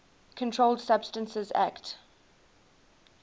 controlled substances acte